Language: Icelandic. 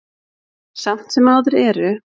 Samt sem áður eru